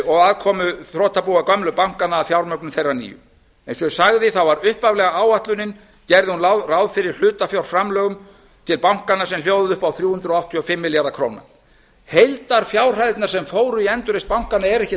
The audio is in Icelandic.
og aðkomu þrotabúa gömlu bankanna að fjármögnun þeirra nýju eins og ég sagði gerði upphaflega áætlun ráð fyrir hlutafjárframlögum til bankanna sem hljóðuðu upp á þrjú hundruð áttatíu og fimm milljarða króna heildarfjárhæðirnar sem fóru í endurreisn bankanna eru ekkert